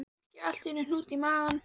Þá fékk ég alltaf hnút í magann.